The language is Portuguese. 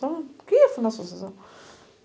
Por que ia fundar a associação?